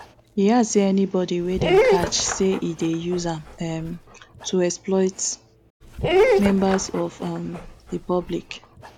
e add say anybodi wey dem catch say e dey use am um to exploit members of um di public